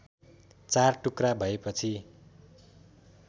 चार टुक्रा भएपछि